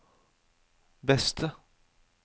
beste